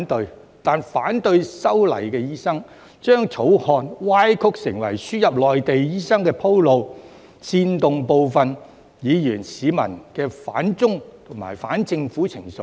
然而，反對修例的醫生，將該條例草案歪曲成為輸入內地醫生鋪路，煽動部分議員和市民的反中和反政府情緒。